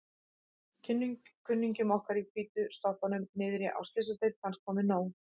Kunningjum okkar í hvítu sloppunum niðri á Slysadeild fannst komið nóg.